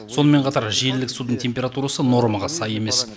сонымен қатар желілік судың температурасы нормаға сай емес